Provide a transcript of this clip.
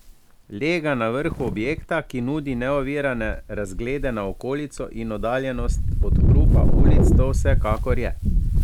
Lega na vrhu objekta, ki nudi neovirane razglede na okolico in oddaljenost od hrupa ulic, to vsekakor je.